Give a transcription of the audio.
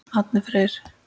Árni Freyr.